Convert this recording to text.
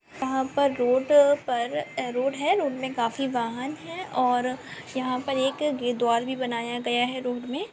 यहां पे रोड पर रोड है रोड में काफी वाहन हैऔर यहां पर एक द्वार भी बनाया गया है रोड मे।